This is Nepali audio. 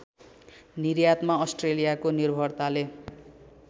निर्यातमा अस्ट्रेलियाको निर्भरताले